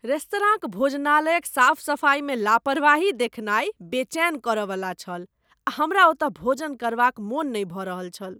रेस्तराँक भोजनालयक साफ सफाइमे लापरवाही देखनाय बेचैन करयवला छल आ हमरा ओतय भोजन करबाक मन नहि भऽ रहल छल।